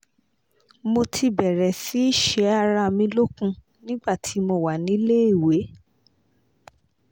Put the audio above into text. mo ti bẹ̀rẹ̀ sí ṣe ara mi lókun nígbà tí mo wà níléèwé